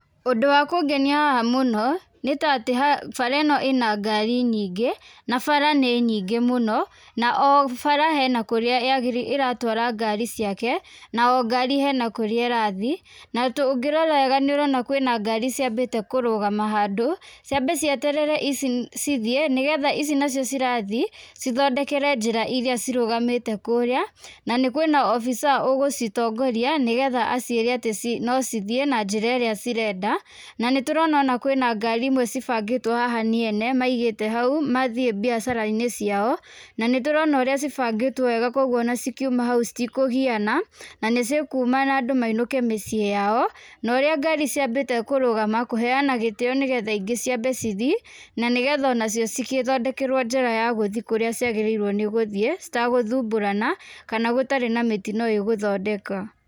Ũndũ wa kũngenia haha mũno nĩ ta atĩ bara ĩno ĩna ngari nyingĩ na bara nĩ nyingĩ mũno na o bara hena kũrĩa yagĩrĩirwo ĩratwara ngari ciake na o gari hena kũrĩa ĩrathiĩ na tũngĩora wega kwĩna ngari iciambĩte kũrũgama handũ, ciambe cieterere ici cithiĩ nĩgetha ici nacio cirathiĩ cithondekere njĩra irĩa cirũgamĩte kũrĩa na nĩ kwĩna officer ũgũcitongoria nĩgetha aciĩre atĩ no cithiĩ na njĩra ĩrĩa cirenda , na nĩtũrona ona kwĩna ngari imwe cibangĩtwo haha nĩ ene maigĩte hau mathiĩ biacara-inĩ ciao, na nĩ tũrona ũrĩa cibangĩtwo wega kwoguo ona cikiuma hau citikũgiana na nĩ cikuma na andũ mainũke mĩciĩ-inĩ yao, na ũrĩa ngari ciambite kũrũgama kũheana gĩtĩo nĩgetha ingĩ ciambe cithii na nĩgetha ona cio cigĩthondekerwo njĩra ya gũthiĩ kũrĩa ciagĩrĩirwo nĩ gũthiĩ citagũthumbũrana kana gũtarĩ na mĩtino ĩgũthondeka.